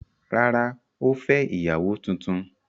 Rárá, ó fẹ́ ìyàwó tuntun.